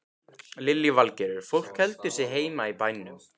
Lillý Valgerður: Fólk heldur sig heima í bænum?